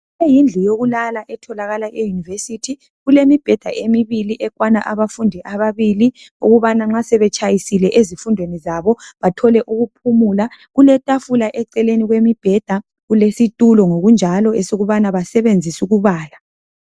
Le yindlu yokulala etholakala e university. Kulemibheda emibili ekwana abafundi ababili ukubana nxa sebetshayisile ezifundweni zabo bathole ukuphumula. Kuletafula eceleni kwemibheda, kulesitulo ngokunjalo esokubana basebenzise ukubala.